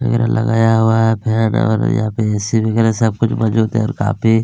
फेर लगाया हुआ है फैन है और यहाँ पे ए. सी. दिख रहा है सब कुछ मौजूद है और काफी --